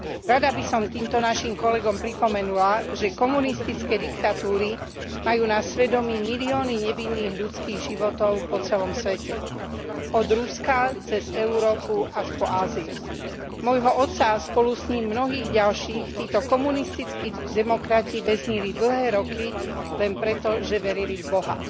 Rada by som týmto našim kolegom pripomenula, že komunistické diktatúry majú na svedomí milióny nevinných ľudských životov po celom svete od Ruska cez Európu až po Áziu. Môjho otca a spolu s ním mnohých ďalších títo komunistickí demokrati väznili dlhé roky len preto, že verili v Boha.